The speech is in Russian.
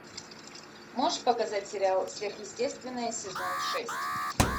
можешь показать сериал сверхъестественное сезон шесть